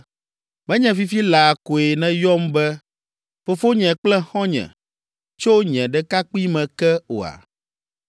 Menye fifi laa koe nèyɔm be, ‘Fofonye kple xɔ̃nye, tso nye ɖekakpuime ke’ oa?